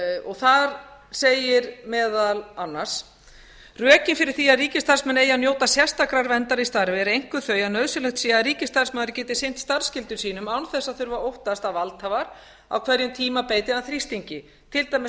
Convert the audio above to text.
og þar segir meðal annars rökin fyrir því að ríkisstarfsmenn eigi að njóta sérstakrar verndar í starfi eru einkum þau að nauðsynlegt sé að ríkisstarfsmaður geti sinnt starfsskyldum sínum án þess að þurfa að óttast að valdhafar á hverjum tíma beiti hann þrýstingi til dæmis